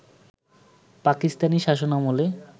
পাকিস্তানি শাসনামলে